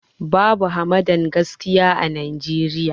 Babu hamadan gaskiya a Najeriya